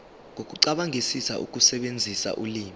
nokucabangisisa ukusebenzisa ulimi